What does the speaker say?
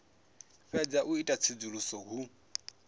fhedza u ita tsedzuluso hu